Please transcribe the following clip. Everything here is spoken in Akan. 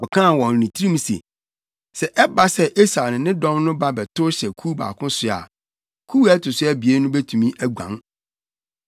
Ɔkaa wɔ ne tirim se, “Sɛ ɛba sɛ Esau ne ne dɔm no ba bɛtow hyɛ kuw baako so a, kuw a ɛto so abien no betumi aguan.”